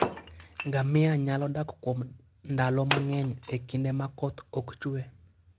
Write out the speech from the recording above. Ngamia nyalo dak kuom ndalo mang'eny e kinde ma koth ok chwe.